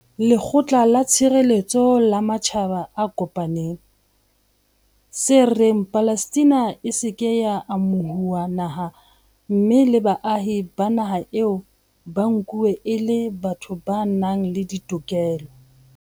Lekgotla la Tshireletseho la Matjhaba a Kopaneng, tse reng Palestina e se ke ya amo huwa naha mme le baahi ba naha eo ba nkuwe e le batho ba nang le ditokelo.